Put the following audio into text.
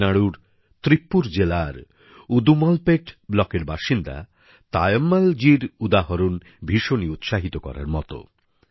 তামিলনাড়ুর তিরুপ্পুর জেলার উদুমলপেট ব্লকের বাসিন্দা তায়ম্মলজীর উদাহরণ ভীষণই উৎসাহিত করার মত